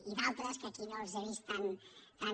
i d’altres que aquí no els he vist tan